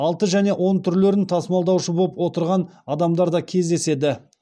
алты және он түрлерін тасымалдаушы боп отырған адамдарда кездеседі